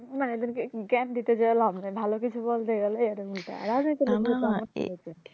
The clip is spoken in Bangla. না এদেরকে জ্ঞান দিতে যায়া লাভ নাই ভালো কিছু বলতে গেলেই এরা উল্টা রাজনীতির লোকদের